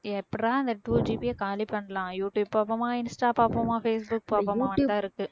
எப்படிறா இந்த two GB ஐ காலி பண்ணலாம் யூடுயூப் பார்ப்போமா இன்ஸ்டா பார்ப்போமா பேஸ்புக் பார்ப்போமா தான் இருக்கு